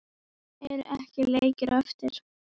Eru ekki leikir á eftir?